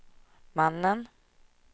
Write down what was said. mannen